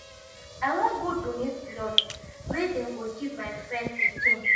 i wan go donate blood wey dem go give my friend pikin.